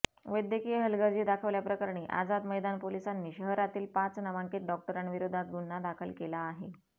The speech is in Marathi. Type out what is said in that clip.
वैद्यकीय हलगर्जी दाखवल्याप्रकरणी आझाद मैदान पोलिसांनी शहरातील पाच नामांकित डॉक्टरांविरोधात गुन्हा दाखल केला आहे